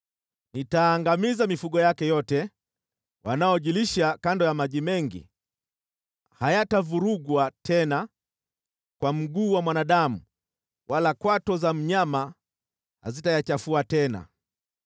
Nitaangamiza mifugo yake yote wanaojilisha kando ya maji mengi, hayatavurugwa tena kwa mguu wa mwanadamu wala kwato za mnyama hazitayachafua tena.